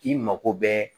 I mako bɛ